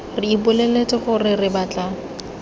re ipoleletse gore re batla